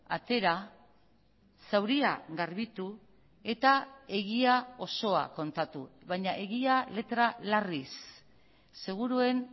atera zauria garbitu eta egia osoa kontatu baina egia letra larriz seguruen